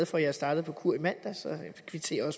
for jeg startede på kur i mandags så jeg kvitterer